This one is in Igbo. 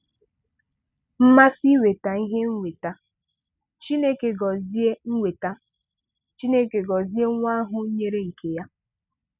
MMASỊ INWETA IHE NWETA —Chineke gọzie NWETA —Chineke gọzie nwa ahụ nwere nke ya.